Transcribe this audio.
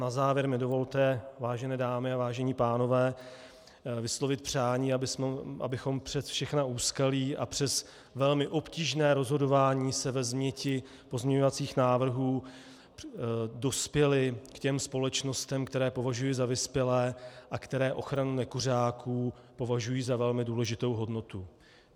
Na závěr mi dovolte, vážené dámy a vážení pánové, vyslovit přání, abychom přes všechna úskalí a přes velmi obtížné rozhodování se ve změti pozměňovacích návrhů dospěli k těm společnostem, které považuji za vyspělé a které ochranu nekuřáků považují za velmi důležitou hodnotu.